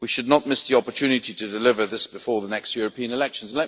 We should not miss the opportunity to deliver this before the next European elections.